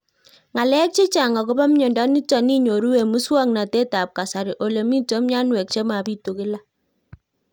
Ng'alek chechang' akopo miondo nitok inyoru eng' muswog'natet ab kasari ole mito mianwek che mapitu kila